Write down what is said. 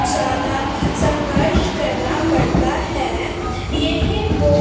ज्यादा संघर्ष करना पड़ता है येह बो--